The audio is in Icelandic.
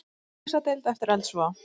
Á slysadeild eftir eldsvoða